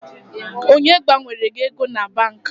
Onye gbanwere gị ego na banki?